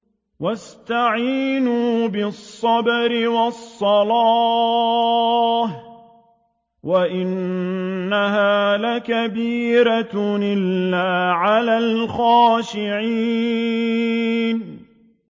وَاسْتَعِينُوا بِالصَّبْرِ وَالصَّلَاةِ ۚ وَإِنَّهَا لَكَبِيرَةٌ إِلَّا عَلَى الْخَاشِعِينَ